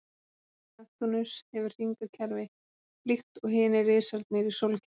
Hringar Neptúnus hefur hringakerfi líkt og hinir risarnir í sólkerfinu.